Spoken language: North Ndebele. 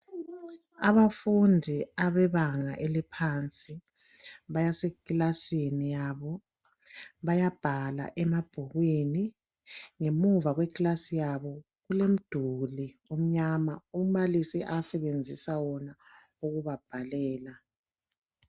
Abafundi abebanga eliphansi basekilasini yabo bayabhala emabhukwini . Ngemuva ekilasini yabo kulomduli omnyama umbalisi asebenzisa wona ukubabhalela.